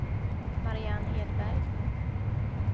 Marianne Hedberg